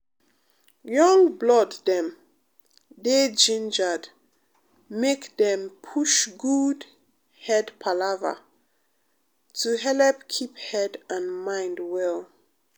young blood dem um dey gingered make dem push good head palava to helep keep head and mind well.